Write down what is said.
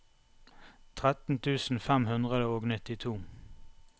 tretten tusen fem hundre og nittito